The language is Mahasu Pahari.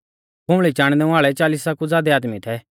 खुंबल़ी चाणनै वाल़ै चालिसा कु ज़ादै आदमी थै